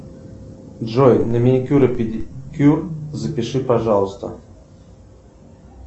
джой на маникюр и педикюр запиши пожалуйста